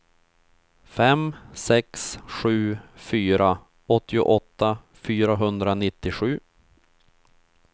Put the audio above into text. fem sex sju fyra åttioåtta fyrahundranittiosju